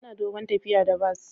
Ana dogon tafiya da bas.